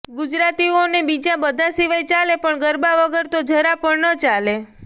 ગુજરાતીઓને બીજા બધા સિવાય ચાલે પણ ગરબા વગર તો જરા પણ ન ચાલે